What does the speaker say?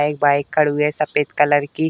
एक बाइक खड़ु है सफ़ेद कलर की।